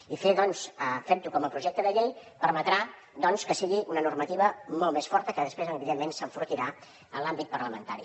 i fer ho com a projecte de llei permetrà que sigui una normativa molt més forta que després evidentment s’enfortirà en l’àmbit parlamentari